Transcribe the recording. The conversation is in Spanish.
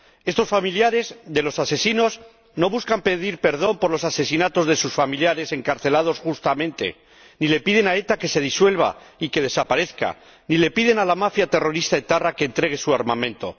Estos familiares de los asesinos no buscan pedir perdón por los asesinatos cometidos por sus familiares, encarcelados justamente, ni le piden a ETA que se disuelva y que desaparezca, ni le piden a la mafia terrorista etarra que entregue su armamento.